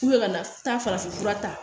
ka na taa farafin fura ta